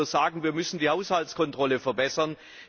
Da kann man nur sagen Wir müssen die Haushaltskontrolle verbessern.